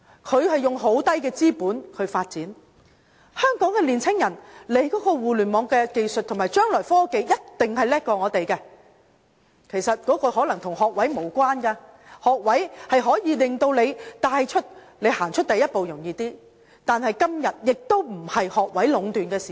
他們以很低的資本發展，香港年青人對於互聯網的技術和將來的科技一定比我們更好，其實這可能與學位無關，學位可以帶領我們更容易踏出第一步，但今天不再是學位壟斷的時代。